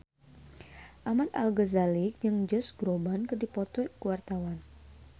Ahmad Al-Ghazali jeung Josh Groban keur dipoto ku wartawan